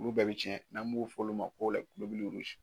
Olu bɛɛ be tiɲɛ n'an b'o f'olu ma ko